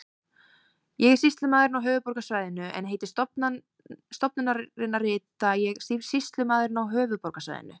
Ég er sýslumaðurinn á höfuðborgarsvæðinu en heiti stofnunarinnar rita ég Sýslumaðurinn á höfuðborgarsvæðinu.